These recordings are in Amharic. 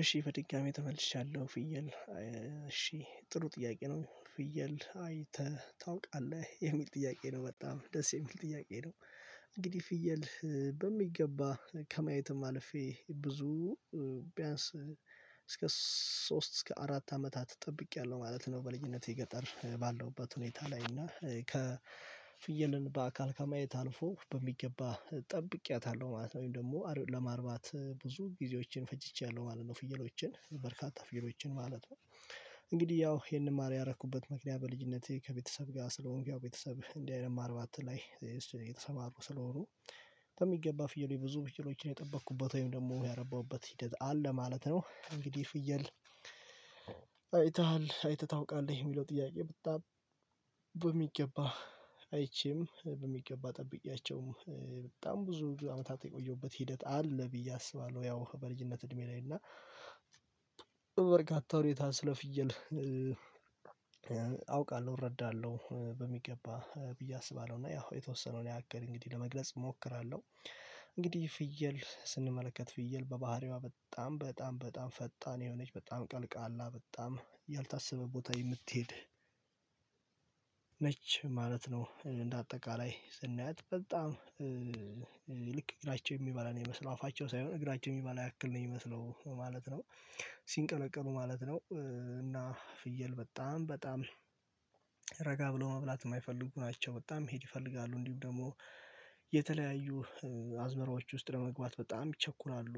እሺ በድጋሚ ተመልሻለሁ ፍየል እሺ ጥሩ ጥያቄ ነው ፍየል አይተ ታውቃለህ የሚል ጥያቄ ነው በጣም ደስ የሚል ጥያቄ ነው። እንግዲህ ፍየል በሚገባ ከማየትም አልፌ ብዙ ቢያንስ እስከ ሶስት እስከ አራት አመታት ጠብቄያለሁ ማለት ነው። በልጅነቴ ገጠር ባለሁበት ሁኔታ ላይ እና ከ ፍየልን በአካል ከማየት አልፎ በሚገባ ጠብቄያታለሁ ማለት ነው። ወይም ደግሞ አር ለማርባት ብዙ ጊዜዎችን ፈጅቼያለሁ ማለት ነው ፍየሎችን በርካታ ፍየሎችን ማለት ነው። እንግዲህ ያው ይሄንን ማር ያረኩበት ምክንያት በልጅነቴ ከቤተሰብ ጋር ስለሆንኩ ያው ቤተሰብ እንዲህ አይነት ማርባት ላይ የተሰማሩ ስለሆኑ በሚገባ ፍየሎች ብዙ ፍ የሎችን የጠበቅኩበት ወይም ደግሞ ያረባሁበት ሂደት አለ ማለት ነው። እንግዲህ ፍየል አይተሃል አይተህ ታውቃለህ የሚለው ጥያቄ በጣም በሚገባ አይቼም በሚገባ ጠብቄያቸውም በጣም ብዙ አመታት የቆየሁበት ሂደት አለ ብዬ አስባለሁ። ያው በልጅነት እድሜ ላይ እና በበርካታ ሁኔታ ስለ ፍየል አውቃለሁ እረዳለሁ በሚገባ ብዬ አስባለሁ። እና ያው የተወሰነውን ያክል እንግዲህ ለመግለጽ እሞክራለሁ። እንግዲህ ፍየል ስንመለከት ፍየል በባህሪዋ በጣም በጣም በጣም ፈጣን የሆነች በጣም ቀልቃላ በጣም ያልታሰበ ቦታ የምትሄድ ነች ማለት ነው። እንደ አጠቃላይ ስናያት በጣም ልክ እግራቸው የሚበላ ነው የሚመስለው አፋቸው ሳይሆን እግራቸው የሚበላ ያክል ነው የሚመስለው ማለት ነው። ሲንቀለቀሉ ማለት ነው። እና ፍየል በጣም በጣም ረጋ ብሎ መብላት የማይፈልጉ ናቸው በጣም መሄድ ይፈልጋሉ እንዲሁም ደግሞ የተለያዩ አዝመራዎች ውስጥ ለመግባት በጣም ይቸኩላሉ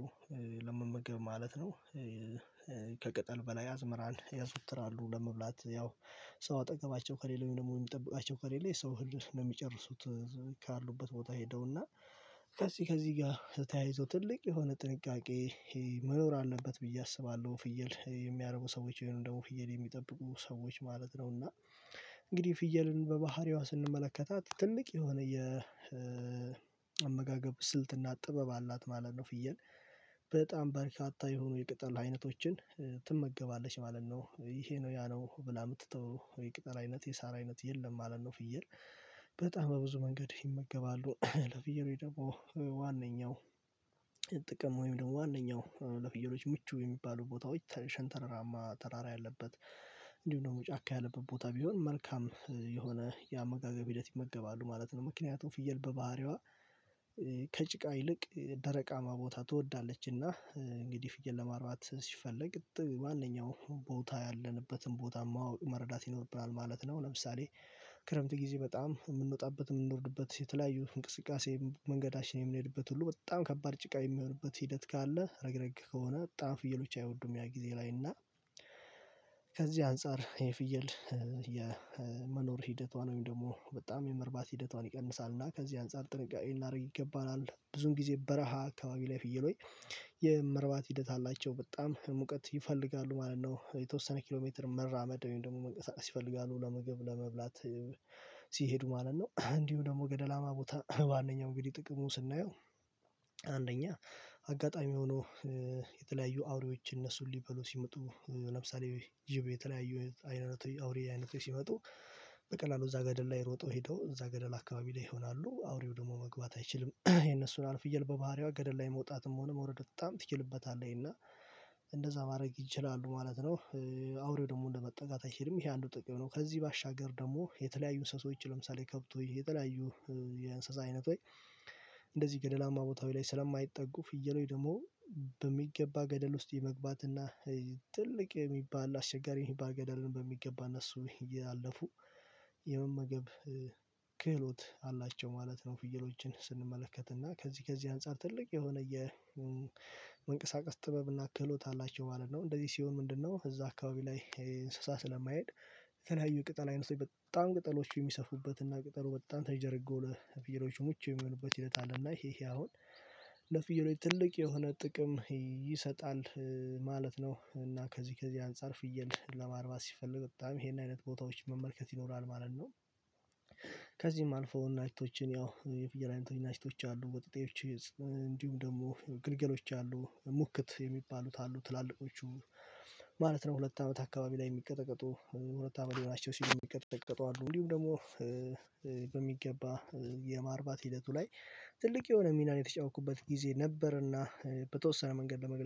ለመመገብ ማለት ነው። ከቅጠል በላይ አዝመራን ያዘውትራሉ ለመብላት ያው ሰው አጠገባቸው ከሌለ ወይም ደግሞ የሚጠብቃቸው ከሌለ የሰው እህል ነው የሚጨርሱት እዛው ከአሉበት ቦታ ሄደውና ከዚህ ከዚህ ጋር ተያይዞ ትልቅ የሆነ ጥንቃቄ መኖር አለበት ብዬ አስባለሁ። ፍየል የሚያረቡ ሰዎች ወይም ደግሞ ፍየል የሚጠብቁ ሰዎች ማለት ነውና እንግዲህ ፍየልን በባህሪዋ ስንመለከታት ትልቅ የሆነ የአመጋገብ ስልትና ጥበብ አላት ማለት ነው። ፍየል በጣም በርካታ የሆኑ የቅጠል አይነቶችን ትመገባለች ማለት ነው። ይሄ ነው ያ ነው ብላ የምትተው የቅጠል አይነት የሳር አይነት የለም ማለት ነው። ፍየል በጣም በብዙ መንገድ ይመገባሉ ለፍየሎች ደግሞ ዋነኛው ጥቅም ወይም ደግሞ ዋናው ለፍየሎች ምቹ የሚባለው ቦታዎች ተ ሽንተረራማ ተራራ ያለበት እንዲሁም ደግሞ ጫካ ያለበት ቦታ ቢሆን መልካም የሆነ የአመጋገብ ሂደት ይመገባሉ ማለት ነው። ምክንያቱም ፍየል በባህሪዋ ከጭቃ ይልቅ ደረቃማ ቦታ ትወዳለችና እንግዲህ ፍየል ለማርባት ሲፈለግ ማንኛውም ቦታ ያለንበትን ቦታ ማወቅ መረዳት ይኖርብናል ማለት ነው። ለምሳሌ ክረምት ጊዜ በጣም የምንወጣበት የምንወርድበት የተለያዩ እንቅስቃሴ መንገዳችን የምንሄድበት ሁሉ በጣም ከባድ ጭቃ የሚሆንበት ሂደት ካለ ረግረግ ከሆነ በጣም ፍየሎች አይወዱም ያ ጊዜ ላይ እና ከዚህ አንፃር የፍየል የመኖር ሂደቷን ወይም ደግሞ በጣም የመርባት ሂደቷን ይቀንሳል። እና ከዚህ አንፃር ጥንቃቄ ልናደርግ ይገባናል ብዙውን ጊዜ በረሃ አካባቢ ላይ ፍየሎ ች የመርባት ሂደት አላቸው በጣም ሙቀት ይፈልጋሉ ማለት ነው። የተወሰነ ኪሎ ሜትር መራመድ ወይም ደግሞ መንቀሳቀስ ይፈልጋሉ ለምግብ ለመብላት ሲሄዱ ማለት ነው። እንዲሁም ደግሞ ገደላማ ቦታ ዋነኛው እንግዲህ ጥቅሙ ስናየው አንደኛ አጋጣሚ ሆኖ የተለያዩ አውሬዎች እነሱን ሊበሉ ሲመጡ ለምሳሌ ጅብ የተለያዩ አይነቶች አውሬ አይነቶች ሲመጡ በቀላሉ እዛ ገደል ላይ ሮጠው ሄደው እዛ ገደል አካባቢ ላይ ይሆናሉ አውሬው ደግሞ መግባት አይችልም የነሱን አልፍየል በባህሪዋ ገደል ላይ መውጣትም ሆነ መውረድ በጣም ትችልበታለኝ እና እንደዛ ማድረግ ይችላሉ ማለት ነው። አውሬው ደግሞ ለመጠጋት አይሄድም ይሄ አንዱ ጥቅም ነው። ከዚህ ባሻገር ደግሞ የተለያዩ እንስሳዎች ለምሳሌ ከብቶች የተለያዩ የእንስሳ አይነ ቶች እንደዚህ ገደላማ ቦታው ላይ ስለማይጠጉ ፍየሎች ደግሞ በሚገባ ገደል ውስጥ የመግባት እና ትልቅ የሚባል አስቸጋሪ የሚባል ገደልን በሚገባ እነሱ እያለፉ የመመገብ ክህሎት አላቸው ማለት ነው። ፍየሎችን ስንመለከት እና ከዚህ ከዚህ አንፃር ትልቅ የሆነ የመንቀሳቀስ ጥበብ እናክህ ሎትአላቸው ማለት ነው። እንደዚህ ሲሆን ምንድነው? እዛ አካባቢ ላይ ስለማይሄድ የተለያዩ የቅጠል አይነቶች በጣም ቅጠሎች የሚሰፉበት እና ቅጠሉ በጣም ተንዠ ርጎ ለፍየሎች ምቹ የሚሆንበት ሂደት አለ እና ይሄ ይሄ አሁን ለፍየሎቹ ትልቅ የሆነ ጥቅም ይሰጣል ማለት ነው። እና ከዚህ ከዚህ አንፃር ፍየል ለማርባት ሲፈለግ በጣም ይሄን አይነት ቦታዎች መመልከት ይኖራል ማለት ነው። ከዚህም አልፎ እናቶችን ያው የፍየል አይነቶች እናቶች አሉ ወጠጤዎች እንዲሁም ደግሞ ግልገሎች አሉ ሙክት የሚባሉት አሉ ትላልቆቹ ማለት ነው ሁለት አመት አካባቢ ላይ የሚቀጠቀጡ ሁለት አመት ሊሆናቸው ሲል የሚቀጠቀጡ አሉ እንዲሁም ደግሞ በሚገባ የማርባት ሂደቱ ላይ ትልቅ የሆነ ሚናን የተጫወትኩበት ጊዜ ነበርና። በተወሰነ መንገድ ለመግለጽ